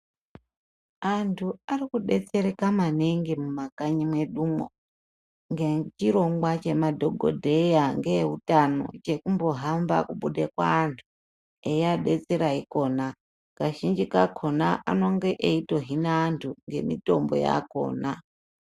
Antu arikudetsereka maningi mumakanyi mwedumwo ngechirongwa chemadhokodheya ngeeutano chekumbohambe kubude kuantu veiabetsera ikhona. Kazhinji kakhona anenge eitohina antu ngemitombo yakhona.